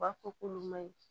U b'a fɔ k'olu ma ɲi